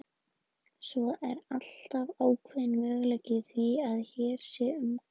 Svo er alltaf ákveðinn möguleiki á því að hér sé um gabb að ræða.